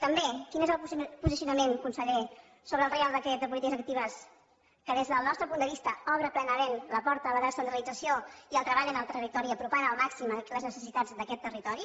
també quin és el posicionament conseller sobre el reial decret de polítiques actives que des del nostre punt de vista obre plenament la porta a la descentralització i al treball en el territori en apropar al màxim les necessitats d’aquest territori